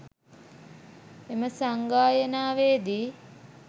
එම සංගායනාවේදී